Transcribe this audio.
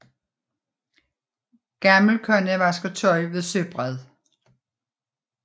Gammel kone vasker tøj ved søbred